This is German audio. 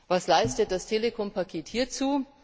Was leistet das Telekom Paket hierzu?